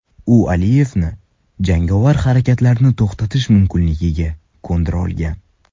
U Aliyevni jangovar harakatlarni to‘xtatish mumkinligiga ko‘ndira olgan.